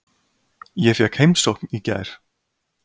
Ég fékk heimsókn í gær.